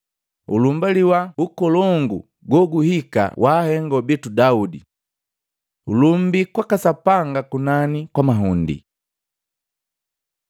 Ulumbaliwa ukolongu goguhika wa ahengo bitu Daudi. Ulumbii kwaka Sapanga kunani kwa mahundi!”